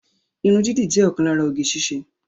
Irun dídì jẹ́ ọ̀kan lára oge síṣe